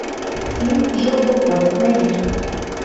фильм жил был кот найди